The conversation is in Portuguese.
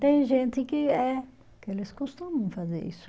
Tem gente que é, que eles costumam fazer isso.